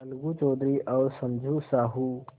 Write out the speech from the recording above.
अलगू चौधरी और समझू साहु